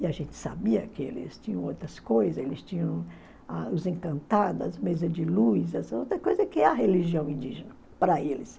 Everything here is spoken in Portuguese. E a gente sabia que eles tinham outras coisas, eles tinham as mesas de luz, outra coisa que é a religião indígena para eles.